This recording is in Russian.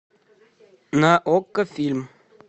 на окко фильм